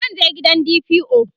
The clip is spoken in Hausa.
zan je gidan DPO